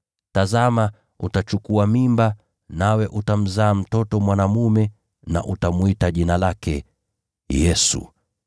Tazama, utachukua mimba, nawe utamzaa mtoto mwanaume na utamwita jina lake Yesu.